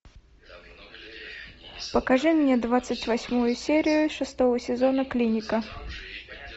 покажи мне двадцать восьмую серию шестого сезона клиника